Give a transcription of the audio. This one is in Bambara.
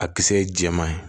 A kisɛ ye jɛman ye